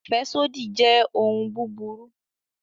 Afẹsodi jẹ ohun buburu